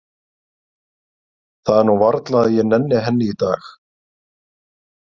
Það er nú varla að ég nenni henni í dag.